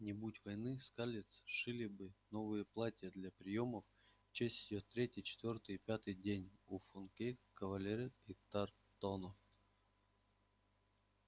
не будь войны скарлетт сшили бы новые платья для приёмов в её честь на третий четвёртый и пятый день у фонтейнов калвертов и тарлтонов